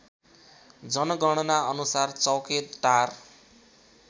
जनगणना अनुसार चौकेटार